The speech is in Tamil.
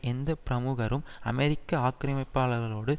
எந்த பிரமுகரும் அமெரிக்க ஆக்கரமிப்பாளர்களோடு